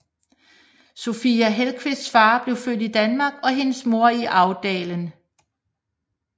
Sofia Hellqvists far blev født i Danmark og hendes mor i Älvdalen